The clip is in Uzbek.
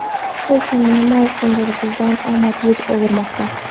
Lekin nima uchundir bizdan omad yuz o‘girmoqda.